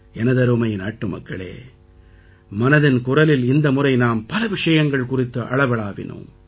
எனதருமை நாட்டுமக்களே மனதின் குரலில் இந்த முறை நாம் பல விஷயங்கள் குறித்து அளவளாவினோம்